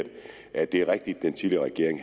at det er rigtigt at den tidligere regering